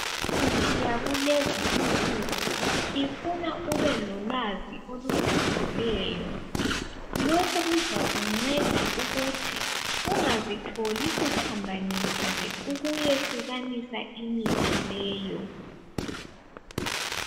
Imithi yakulezi insuku ifuna ube lolwazi olujulileyo. Lokhu kuzakunceda ukuthi ungazitholi usuphambanisile ukuyehlukanisa imithi leyo.